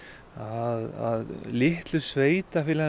að litlu sveitarfélögin